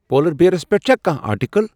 پُولر bears پیٹھ چھا کانٛہہ آرٹیکل ۔